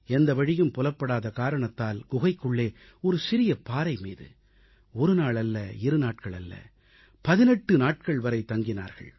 எந்தவழியும் புலப்படாத காரணத்தால் குகைக்குள்ளே ஒரு சிறிய பாறைமீது ஒரு நாள் அல்ல இருநாட்கள் அல்ல 18 நாட்கள் வரை தங்கினார்கள்